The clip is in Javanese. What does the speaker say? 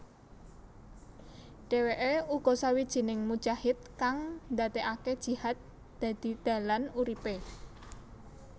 Dheweke uga sawijining mujahid kang ndadekake jihad dadi dalan uripe